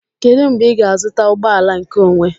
Kedu mgbe ị ga-azụta ụgbọ ala nkeonwe?